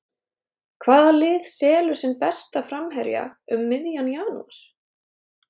Hvaða lið selur sinn besta framherja um miðjan janúar?